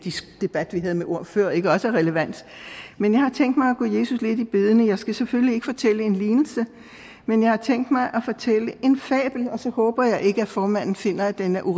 debat vi havde med ord før ikke også er relevant men jeg har tænkt mig at gå jesus lidt i bedene jeg skal selvfølgelig ikke fortælle en lignelse men jeg har tænkt mig at fortælle en fabel og så håber jeg ikke at formanden finder at den er